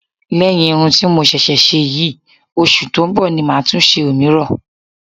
Lẹ́yìn irun ti mo ṣẹ̀ṣẹ̀ ṣe yìí, oṣù tó ń bọ̀ ni màá tó ṣe òmíràn